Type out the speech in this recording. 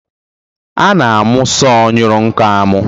A na-amụ sọọ nyụrụ nkọ amụ.